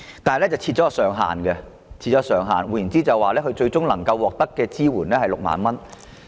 然而，有關金額設有上限，旅行社最終能夠獲得的支援金額是6萬元。